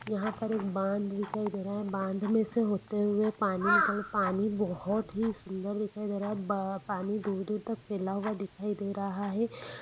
यहाँ पे एक बांध दिखाई दे रहा है बांध में से होते हुए पानी निकल पानी बहुत ही सुन्दर दिखाई दे रहा है ब पानी दूर दूर तक फेला हुआ दिखाई दे रहा है।